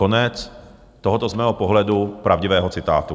Konec tohoto z mého pohledu pravdivého citátu.